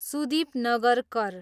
Sudeep Nagarkar